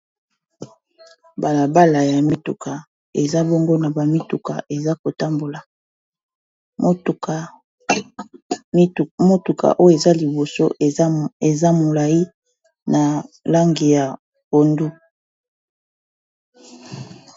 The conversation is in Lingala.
Balabala ya mituka eza bongo na bamituka eza kotambola motuka oyo eza liboso eza molayi na langi ya pondu